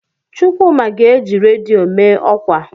Chukwuma ga-eji redio mee ọkwa.